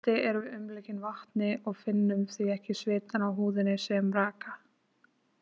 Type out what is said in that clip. Í sundi erum við umlukin vatni og finnum því ekki svitann á húðinni sem raka.